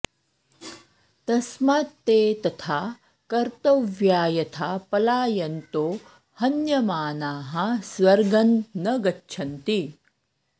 तस्मात्ते तथा कर्तव्या यथा पलायन्तो हन्यमानाः स्वर्गं न गच्छन्ति